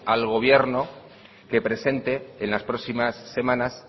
al gobierno que presente en las próximas semanas